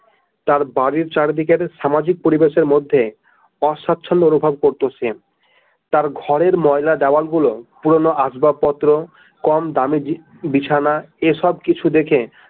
তার বাড়ির চারিদিকে সামাজিক পরিবেশের মধ্যে অস্বাচ্ছন্ধ অনুভব করতেন সে তার ঘরের ময়লা দেয়াল গুলো পুরোনো আসবাবপত্র কম দামি বিছানা এইসব কিছু দেখে।